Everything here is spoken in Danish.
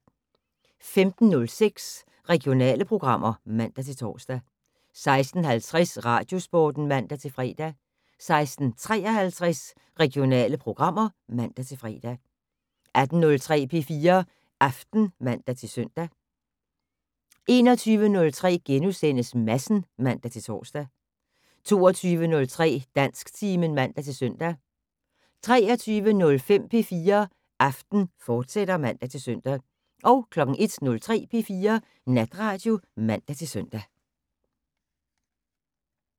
15:06: Regionale programmer (man-tor) 16:50: Radiosporten (man-fre) 16:53: Regionale programmer (man-fre) 18:03: P4 Aften (man-søn) 21:03: Madsen *(man-tor) 22:03: Dansktimen (man-søn) 23:05: P4 Aften, fortsat (man-søn) 01:03: P4 Natradio (man-søn)